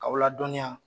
K'aw ladɔnniya